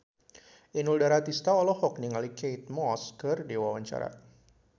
Inul Daratista olohok ningali Kate Moss keur diwawancara